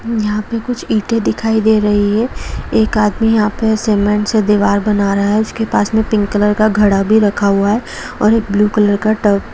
यहा पे कुछ ईटे दिखाई दे रही है एक आदमी यहां पे सीमेंट से दीवार बना रहा है उसके पास भी पिंक कलर का घडा भी रखा हुआ है और ब्लू कलर का टब--